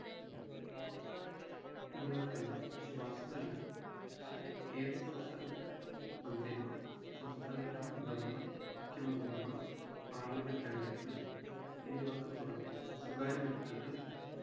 എന്നിവർക്കെല്ലാം ശുപാർശ നൽകാം കേന്ദ്ര സംസ്ഥാന മന്ത്രിമാർ സംസ്ഥാന governor മാർ മുഖ്യമന്ത്രിമാർ parliament അംഗങ്ങൾ എന്നിവർക്കു പുറമെ സ്വകാര്യ വ്യക്തികൾ